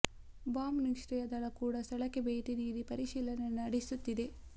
bomb ನಿಷ್ಕ್ರಿಯ ದಳ ಕೂಡ ಸ್ಥಳಕ್ಕೆ ಭೇಟಿ ನೀಡಿ ಪರಿಶೀಲನೆ ನಡೆಸುತ್ತಿದೆ